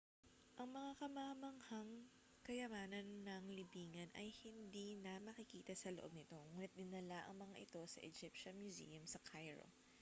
ang mga kamangha-manghang kayamanan ng libingan ay hindi na makikita sa loob nito ngunit dinala ang mga ito sa egyptian museum sa cairo